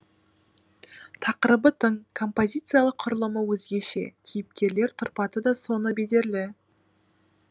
тақырыбы тың композициялық құрылымы өзгеше кейіпкерлер тұрпаты да соны бедерлі